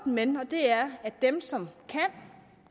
men og det er at for dem som kan